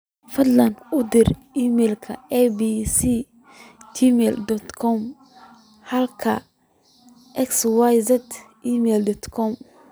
fadhlan u dir iimayl a.b.c gmail dot com halki xyz gmail dot com